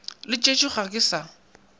le tšešo ga ke sa